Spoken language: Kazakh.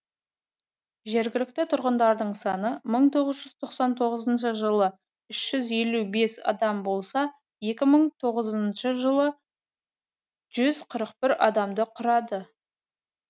жергілікті тұрғындар саны мың тоғыз жүз тоқсан тоғызыншы жылы үш жүз елу бес адам болса екі мың тоғызыншы жылы жүз қырық бір адамды құрады